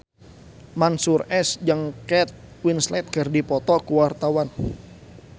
Mansyur S jeung Kate Winslet keur dipoto ku wartawan